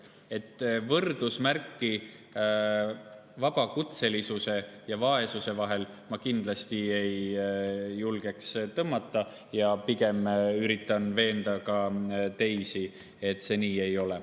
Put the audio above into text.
Aga võrdusmärki vabakutselisuse ja vaesuse vahele ma kindlasti ei julgeks tõmmata ja pigem üritan veenda ka teisi, et see nii ei ole.